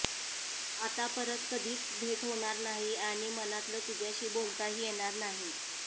आता परत कधीच भेट होणार नाही आणि मनातलं तुझ्याशी बोलताही येणार नाही